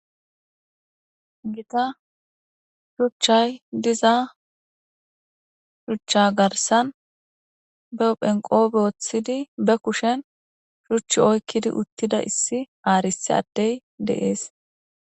Gita shuchchay diza shuchcha garsan be uphenqo booththidi be kushen shuchchi oykkidi uttida issi haarisi addey deees